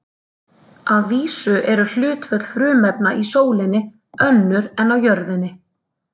Að vísu eru hlutföll frumefna í sólinni önnur en á jörðinni.